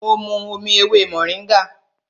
Mo mu omi ewé mòríngà